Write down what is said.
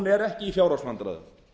er ekki í fjárhagsvandræðum